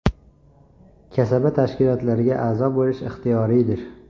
Kasaba tashkilotlariga a’zo bo‘lish ixtiyoriydir’.